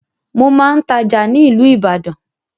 Mo máa ń tája ni ilu Ìbàdàn